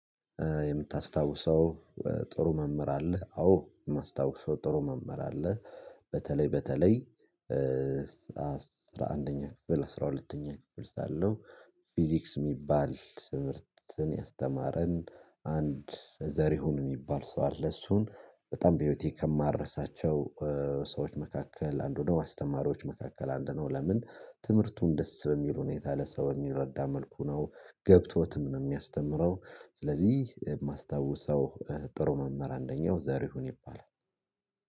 የምታስታውሰው ጥሩ መምህር አለ? አዎ የማስታውሰው ጥሩ መምህር አለ። በተለይ በተለይ አስራ አንደኛ ክፍል፤ አስራ ሁለተኛ ክፍል ሳለው ፊዚክስ የሚባል ትምህርትን ያስተማረን አንድ ዘርሁን የሚባል ሰው አለ። እሱን በጣም በህይወቴ ከማረሳቸው ሰዎች መካከል አንዱ ነው አስተማሪዎች መካከል አንድ ነው። ለምን ትምህርቱን ደስ በሚል ሁኔታ ለሰው የሚረዳ መልኩ ነው ገብቶትም ነው የሚያስተምረው። ስለዚህ የማስታውሰው ጥሩ መምህር አንደኛው ዛሬ ይሁን ይባላል።